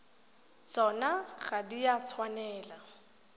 tsona ga di a tshwanela